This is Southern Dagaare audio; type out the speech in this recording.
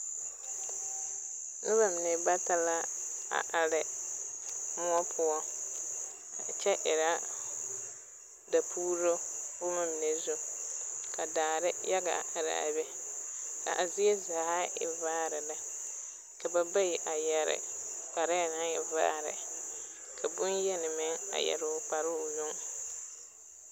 Noba mine bata la a are moɔ poɔ kyɛ erɛ dapuuro boma mine zu, ka daare age a araa be ka zie zaa e vaare lɛ ka ba bayi yɛre kparee naŋ e vaare ka bonyeni meŋ a yɛre kpare o yong